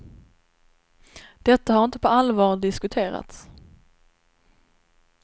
Detta har inte på allvar diskuterats.